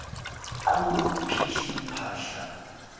qhu phihli phahla